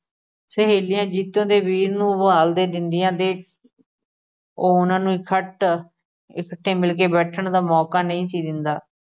ਸਹੇਲੀਆਂ ਜੀਤੋ ਦੇ ਵੀਰ ਨੂੰ ਦਿੰਦੀਆਂ ਕਿ ਉਹ ਉਹਨਾਂ ਨੂੰ ਇਕੱਠ ਇਕੱਠੇ ਮਿਲ ਕੇ ਬੈਠਣ ਦਾ ਮੌਕਾ ਨਹੀਂ ਸੀ ਦਿੰਦਾ।